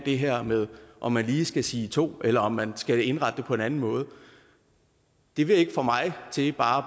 det her med om man lige skal sige to eller om man skal indrette det på en anden måde det vil ikke få mig til bare